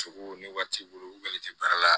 Cogo ni wari t'i bolo u kɔni tɛ baara la